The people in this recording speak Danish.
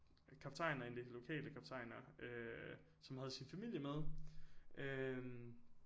Kaptajner en af de der lokale kaptajner øh som havde sin familie med øh